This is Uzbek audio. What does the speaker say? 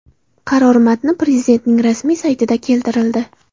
Qaror matni Prezidentning rasmiy saytida keltirildi .